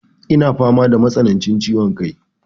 Eh, fama da matsanancin ciwon kai.